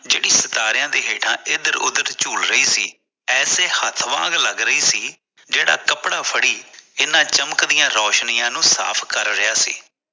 ਜਿਹੜੀ ਸਿਤਾਰੇ ਦੇ ਹੇਠਾਂ ਇਧਰ ਉਦਰ ਝੂਲ ਰਹੀ ਸੀ ਐਸੇ ਹੱਥ ਵਾਂਗ ਲਗ ਰਹੀ ਸੀ ਜਿਹੜਾ ਕੱਪੜਾ ਫੜੀ ਇਹਨਾਂ ਚਮਕਦੀਆਂ ਰੋਸ਼ਨੀਆਂ ਨੂੰ ਸਾਫ਼ ਕਰ ਰਿਹਾ ਸੀ